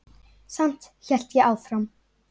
Samt hélt ég áfram.